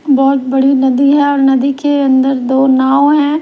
बहुत बड़ी नदी है और नदी के अंदर दो नाव हैं।